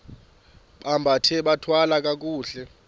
bambathe bathwale kakuhle